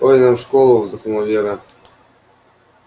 ой нам в школу вздохнула вера